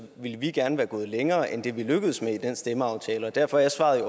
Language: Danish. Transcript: ville vi gerne være gået længere end vi lykkedes med i den stemmeaftale og derfor er svaret